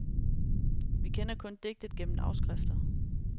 Vi kender kun digtet gennem afskrifter.